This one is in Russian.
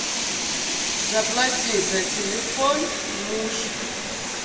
заплати за телефон муж